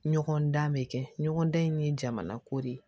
Ɲɔgɔn dan bɛ kɛ ɲɔgɔn dan in ye jamana ko de ye